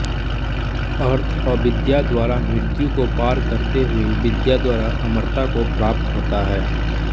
अर्थ अविद्या द्वारा मृत्यु को पार करते हुए विद्या द्वारा अमरता को प्राप्त होता है